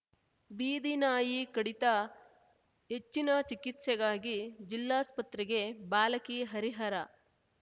ಬೀದಿ ನಾಯಿ ಕಡಿತ ಹೆಚ್ಚಿನ ಚಿಕಿತ್ಸೆಗಾಗಿ ಜಿಲ್ಲಾಸ್ಪತ್ರೆಗೆ ಬಾಲಕಿ ಹರಿಹರ